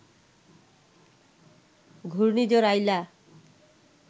ঘূর্ণিঝড় আইলা